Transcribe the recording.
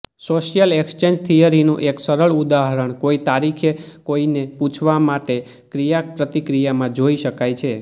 social exchange થિયરીનું એક સરળ ઉદાહરણ કોઈ તારીખે કોઈને પૂછવા માટે ક્રિયાપ્રતિક્રિયામાં જોઇ શકાય છે